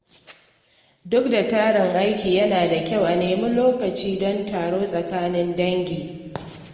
Duk da tarin aiki, yana da kyau a nemi lokaci don taro tsakanin dangi.